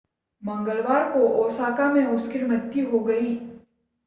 मंगलवार को ओसाका में उसकी मृत्यु हो गई